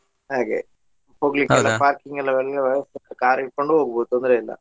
ಹಾಗೆ parking ಎಲ್ಲ ಒಳ್ಳೆ ವ್ಯವಸ್ಥೆ ಉಂಟು car ಹಿಡ್ಕೊಂಡು ಹೋಗಬಹುದು ತೊಂದ್ರೆ ಇಲ್ಲಾ.